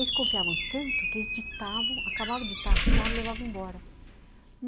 Eles confiavam tanto que eles ditavam, acabavam de ditar, assinavam e levavam embora.